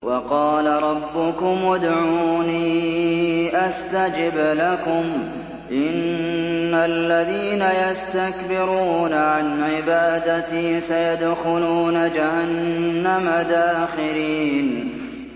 وَقَالَ رَبُّكُمُ ادْعُونِي أَسْتَجِبْ لَكُمْ ۚ إِنَّ الَّذِينَ يَسْتَكْبِرُونَ عَنْ عِبَادَتِي سَيَدْخُلُونَ جَهَنَّمَ دَاخِرِينَ